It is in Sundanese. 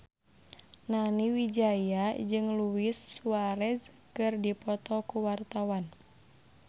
Nani Wijaya jeung Luis Suarez keur dipoto ku wartawan